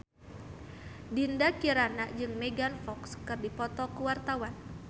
Dinda Kirana jeung Megan Fox keur dipoto ku wartawan